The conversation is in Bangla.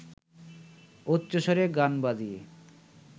উচ্চৈঃস্বরে গান বাজিয়ে